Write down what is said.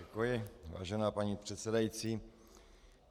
Děkuji, vážená paní předsedající.